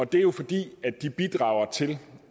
det er jo fordi de bidrager til